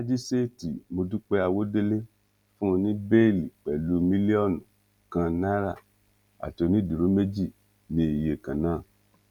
májíṣẹẹtì mọdúpẹ àwọdélé fún un ní bẹẹlí pẹlú mílíọnù kan náírà àti onídúró méjì ní iye kan náà